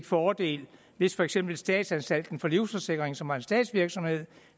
fordel hvis for eksempel statsanstalten for livsforsikring som var en statsvirksomhed